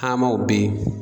Aamaw be ye